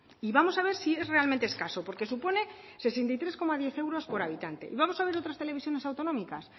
y vamos a ver si es realmente escaso porque supone sesenta y tres coma diez euros por habitante y vamos a ver otras televisiones autonómicas